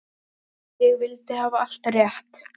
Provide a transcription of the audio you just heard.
Ég vildi hafa allt rétt.